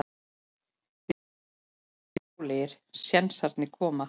Við vildum frekar bara bíða rólegir, sénsarnir koma.